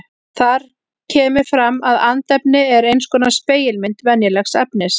Þar kemur fram að andefni er eins konar spegilmynd venjulegs efnis.